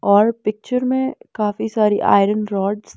और पिक्चर में काफी सारी आयरन रोड्स --